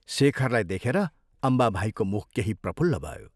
शेखरलाई देखेर अम्बाभाइको मुख केही प्रफुल्ल भयो।